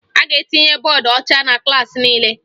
A ga-etinye bọọdụ ọcha na klaasị niile